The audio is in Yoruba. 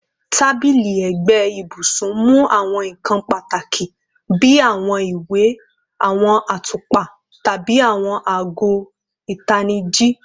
Tabili ẹgbe ibusun mu awọn nkan pataki bi awọn iwe, awọn atupa, tabi awọn aago itaniji